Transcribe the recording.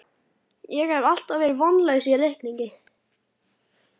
Ég hef alltaf verið vonlaus í reikningi